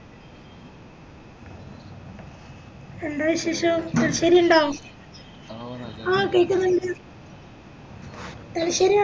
ന്താ വിശേഷം തലശ്ശേരി ഇണ്ടോ അഹ് കേക്ക്ന്ന്ണ്ട്‌ തലശ്ശേരി